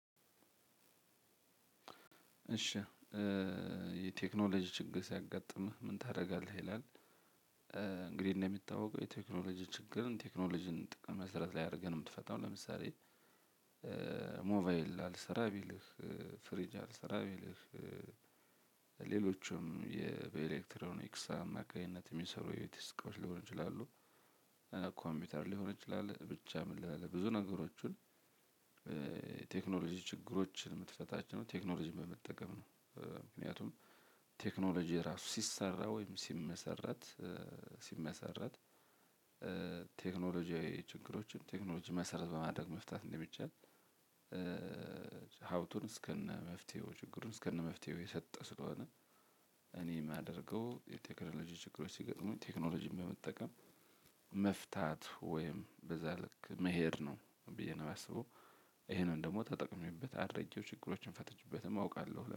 እሺ የቴክኖሎጂ ችግር ሲያጋጥምህ ምን ታደርጋለህ ይላል? እንግዲህ እንደሚታወቀው የቴክኖሎጂ ችግርን ቴክኖሎጂን ጥቅም መሰረት ላይ አድርገህ ነው የምትፈታው። ለምሳሌ ሞባይል አልሰራ ቢልህ ፍሪጅ አልሰራ ቢልህ ሌሎችም በኤሌክትሮኒክስ አማካኝነት የሚሰሩ የዲስክ እቃዎች ሊሆን ይችላሉ። ኮምፒውተር ሊሆን ይችላል ብቻ ምን ልበልህ? ብዙ ነገሮችን ቴክኖሎጂ ችግሮችን የምትፈታቸው ቴክኖሎጂን በመጠቀም ነው። ምክንያቱም ቴክኖሎጂ ራሱ ሲሰራ ወይም ሲመሰረት ሲመሰረት ቴክኖሎጂያዊ ችግሮችን ቴክኖሎጂ መሰረት በማድረግ መፍታት እንደሚቻል። ሀፍቱን እስከነ መፍትሄው ችግሩን እስከነ መፍትሄው የሰጠ ስለሆነ። እኔ የማደርገው የቴክኖሎጂ ችግሮች ሲገጥሙኝ ቴክኖሎጂን በመጠቀም መፍታት ወይም በዛ ልክ መሄድ ነው ብዬ ነው የማስበው። ይሄንን ደግሞ ተጠቅሜቤት አድርጌው ችግሮችን ፈተችበትም አውቃለሁ